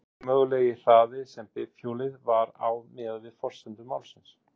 Hver er minnsti mögulegi hraði sem bifhjólið var á miðað við forsendur málsins?